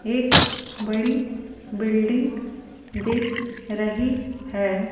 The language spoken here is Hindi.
एक बड़ी बिल्डिंग दिख रही है।